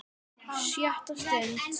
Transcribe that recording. SJÖTTA STUND